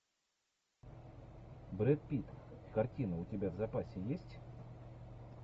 брэд питт картина у тебя в запасе есть